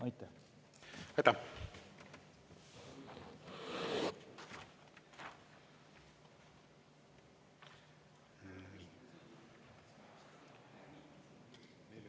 Aitäh!